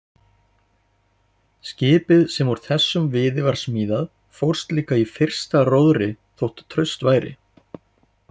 Skipið sem úr þessum viði var smíðað fórst líka í fyrsta róðri þó traust væri.